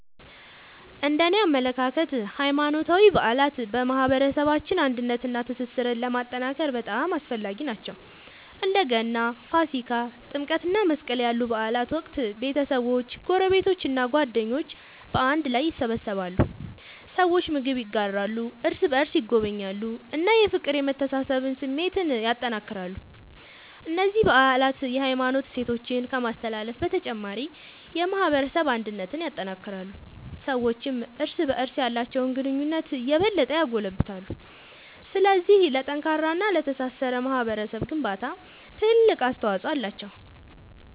እነደኔ አመለካከት ሃይማኖታዊ በዓላት በማህበረሰባችን አንድነትንና ትስስርን ለማጠናከር በጣም አስፈላጊ ናቸው። በእንደ ገና፣ ፋሲካ፣ ጥምቀት እና መስቀል ያሉ በዓላት ወቅት ቤተሰቦች፣ ጎረቤቶች እና ጓደኞች በአንድ ላይ ይሰበሰባሉ። ሰዎች ምግብ ይጋራሉ፣ እርስ በርስ ይጎበኛሉ እና የፍቅርና የመተሳሰብ ስሜትን ያጠናክራሉ። እነዚህ በዓላት የሃይማኖት እሴቶችን ከማስተላለፍ በተጨማሪ የማህበረሰብ አንድነትን ያጠናክራሉ። ሰዎችም እርስ በርስ ያላቸውን ግንኙነት የበለጠ ያጎለብታሉ። ስለዚህ ለጠንካራና ለተሳሰረ ማህበረሰብ ግንባታ ትልቅ አስተዋጽኦ አላቸው።